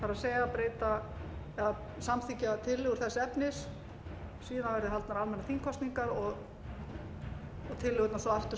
í þinginu það er samþykkja tillögur þess efnis síðan verði haldnar almennar þingkosningar og tillögurnar þá aftur